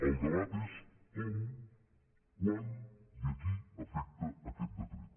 el debat és com quan i a qui afecta aquest decret